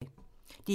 DR1